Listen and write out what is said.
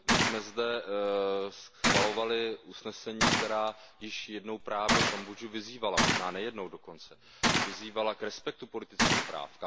My jsme zde schvalovali usnesení, která již jednou právě Kambodžu vyzývala, možná nejednou dokonce, k respektování politických práv.